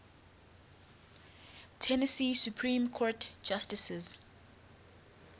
tennessee supreme court justices